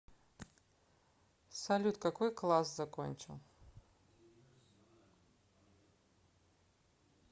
салют какой класс закончил